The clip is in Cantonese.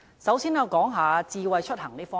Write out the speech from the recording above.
首先，我想談一談智慧出行。